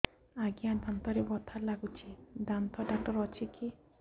ଆଜ୍ଞା ଦାନ୍ତରେ ବଥା ଲାଗୁଚି ଦାନ୍ତ ଡାକ୍ତର ଅଛି କି